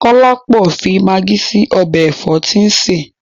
Kọ́lápọ̀ fi magí sí ọbẹ̀ ẹ̀fọ́ tí ń sè.